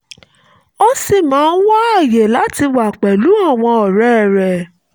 ó ṣì máa ń wáyè láti wà pẹ̀lú àwọn ọ̀rẹ́ rẹ̀